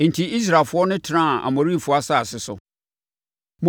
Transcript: Enti Israelfoɔ no tenaa Amorifoɔ asase so.